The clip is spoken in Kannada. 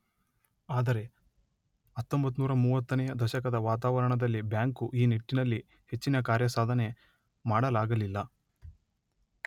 ಆದರೆ ಹತ್ತೊಂಬತ್ತು ನೂರ ಮೂವತ್ತನೆಯ ದಶಕದ ವಾತಾವರಣದಲ್ಲಿ ಬ್ಯಾಂಕು ಈ ನಿಟ್ಟಿನಲ್ಲಿ ಹೆಚ್ಚಿನ ಕಾರ್ಯಸಾಧನೆ ಮಾಡಲಾಗಲಿಲ್ಲ.